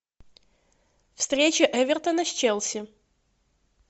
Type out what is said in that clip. встреча эвертона с челси